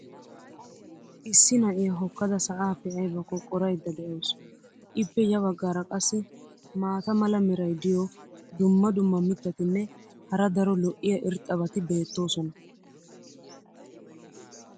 issi na'iya hookkada sa"aappe aybbakko qoraydda de'awusu. ippe ya bagaara qassi maata mala meray diyo dumma dumma mitatinne hara daro lo'iya irxxabati beetoosona.